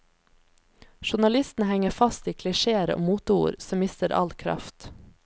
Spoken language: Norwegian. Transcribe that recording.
Journalistene henger fast i klisjéer og moteord, som mister all kraft.